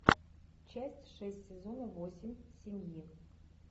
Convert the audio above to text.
часть шесть сезона восемь семьи